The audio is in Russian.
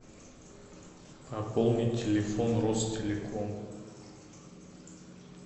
пополнить телефон ростелеком